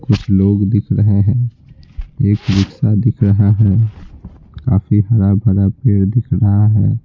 कुछ लोग दिख रहे हैं एक रिक्शा दिख रहा है काफी हरा भरा पेड़ दिख रहा है।